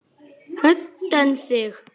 Hödd: En þig?